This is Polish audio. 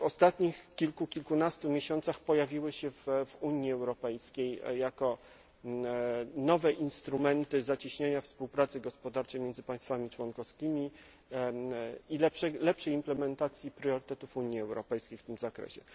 ostatnich kilku, kilkunastu miesięcy w Unii Europejskiej jako nowe instrumenty zacieśniania współpracy gospodarczej między państwami członkowskimi i lepszej implementacji priorytetów Unii Europejskiej w tym zakresie.